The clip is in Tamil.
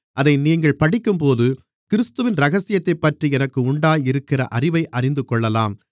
அதை நீங்கள் படிக்கும்போது கிறிஸ்துவின் இரகசியத்தைப்பற்றி எனக்கு உண்டாயிருக்கிற அறிவை அறிந்துகொள்ளலாம்